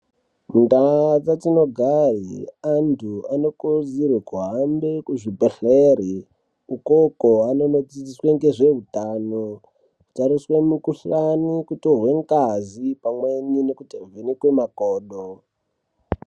Mundaa dzatinogare antu anokurudzirwe kuhambe kuzvibhedhlere. Ukoko anonodzidziswe ngezvehutano, kutariswe mukuhlani, kutorwe ngazi pamweni nekuvhenekwe makodo.